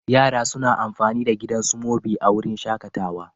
Yara suna amfani da gidan Smoby a wurin shakatawa.